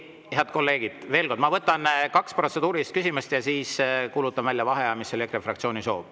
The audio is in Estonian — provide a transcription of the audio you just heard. Head kolleegid, veel kord, ma võtan kaks protseduurilist küsimust ja siis kuulutan välja vaheaja, mis oli EKRE fraktsiooni soov.